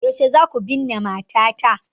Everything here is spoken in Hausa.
Yaushe za ku binne matata?